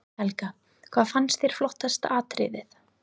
Helga: Hvað fannst þér flottasta atriðið?